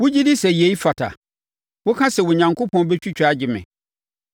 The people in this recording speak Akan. “Wogye di sɛ yei fata? Woka sɛ, ‘Onyankopɔn bɛtwitwa agye me.’